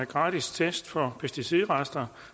gratis test for pesticidrester